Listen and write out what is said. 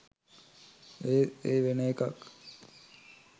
ඒත් ඒ වෙන එකක්